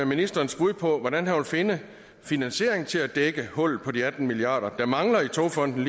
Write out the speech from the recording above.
ministerens bud på hvordan han vil finde finansiering til at dække hullet på de atten milliard kr der mangler i togfonden